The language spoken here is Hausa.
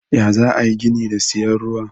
Ya zaayi ayi gini da siyan ruwa.